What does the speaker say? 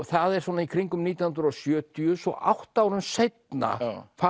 það er svona í kringum nítján hundruð og sjötíu svo átta árum seinna